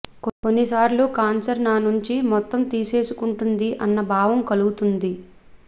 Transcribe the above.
కొన్నిసార్లు కాన్సర్ నా నుంచి మొత్తం తీసేసుకుంటుంది అన్న భావన కలుగుతుంది